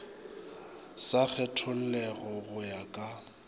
sa kgethollego go ya ka